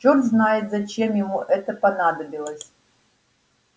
черт знает зачем ему это понадобилось